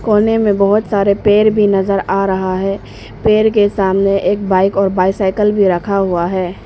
कोने में बहुत सारे पेड़ भी नजर आ रहा है पेड़ के सामने एक बाइक और बाइसिकल भी रखा हुआ है।